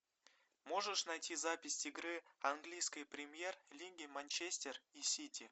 можешь найти запись игры английской премьер лиги манчестер и сити